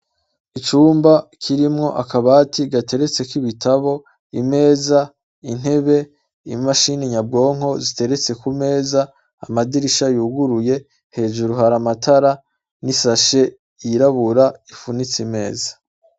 Icumba kirimwo akabati gateretseko ibitatabo, imeza, intebe, imashini nyabwonko zigeretse ku meza, amadirisha yuguruye, hejuru hari amatara n' isashe yirabura ifunitse imeza.